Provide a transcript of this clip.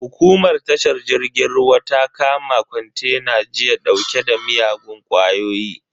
Hukumar tashar jirgin ruwa ta kama kontena jiya dauke da miyagun kwayoyi.